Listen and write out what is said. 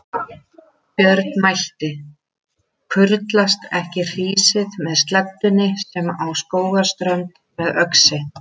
Björn mælti: Kurlast ekki hrísið með sleddunni sem á Skógarströnd með öxi?